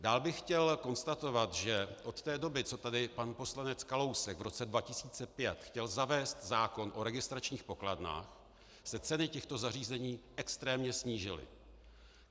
Dál bych chtěl konstatovat, že od té doby, co tady pan poslanec Kalousek v roce 2005 chtěl zavést zákon o registračních pokladnách, se ceny těchto zařízení extrémně snížily.